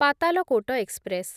Patalkot express